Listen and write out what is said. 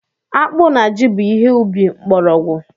Akpụ na Jị bụ ihe ubi mkpọrọogwu.